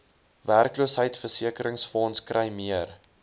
werkloosheidsversekeringsfonds kry meer